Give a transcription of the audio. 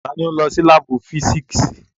Tani n lọ si laabu fisiksi?